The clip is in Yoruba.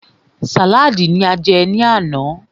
Sàlaadi ní a jẹ ní àná.